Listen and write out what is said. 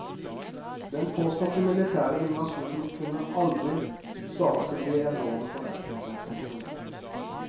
Den påståtte militære invasjonen kunne aldri svare til de enorme forventningene. punktum